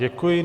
Děkuji.